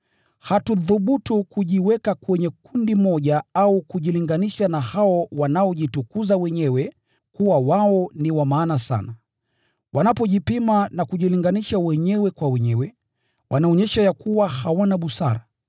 Hatuthubutu kujiweka kwenye kundi moja au kujilinganisha na hao wanaojitukuza wenyewe kuwa wao ni wa maana sana. Wanapojipima na kujilinganisha wenyewe kwa wenyewe, wanaonyesha ya kuwa hawana busara.